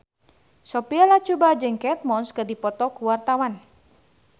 Sophia Latjuba jeung Kate Moss keur dipoto ku wartawan